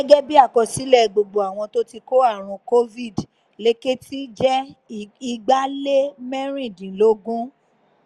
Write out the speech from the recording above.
gẹ́gẹ́ bíi àkọsílẹ̀ gbogbo àwọn tó ti kó àrùn covid lèkìtì jẹ́ igba-lé-mẹ́rìndínlógún